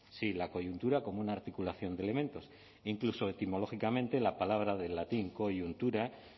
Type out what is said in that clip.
sí la coyuntura como una articulación de elementos e incluso etimológicamente la palabra del latín coyuntura